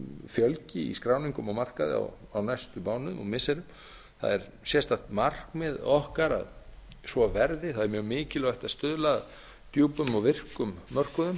fjölgi í skráningum á markaði á næstu mánuðum og missirum það er sérstakt markmið okkar að svo verði það er mjög mikilvægt að stuðla að djúpum og virkum mörkuðum